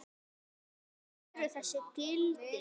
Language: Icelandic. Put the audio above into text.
Hver eru þessi gildi?